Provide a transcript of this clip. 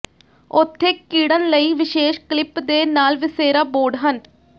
ਉੱਥੇ ਿਕੜਨ ਲਈ ਵਿਸ਼ੇਸ਼ ਕਲਿੱਪ ਦੇ ਨਾਲ ਵਸੇਰਾ ਬੋਰਡ ਹਨ